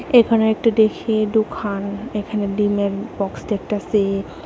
এখানে একটা ডেখি ডোখান এখানে ডিমের বক্স দেখতাসি।